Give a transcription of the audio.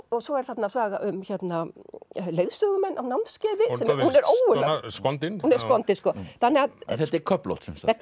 svo er þarna saga um leiðsögumenn á námskeiði hún er skondin hún er skondin en þetta er köflótt sem sagt þetta